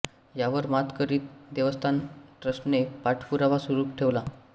यावर मात करीत देवस्थान ट्रस्टने पाठपुरावा सुरू ठेवला